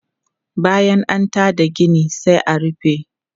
Bayan an ta da gina sai a rufe.